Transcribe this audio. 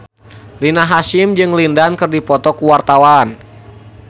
Rina Hasyim jeung Lin Dan keur dipoto ku wartawan